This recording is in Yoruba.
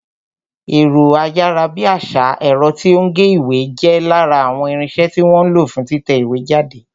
Ẹ̀rọ ayárabíàṣá, ẹ̀rọ tí ó ń gé ìwé, jẹ́ lára àwọn irinsẹ́ tí wọ́n ń lo fún títẹ ìwé jáde